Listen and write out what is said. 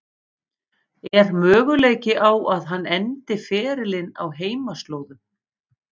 Er möguleiki á að hann endi ferilinn á heimaslóðum?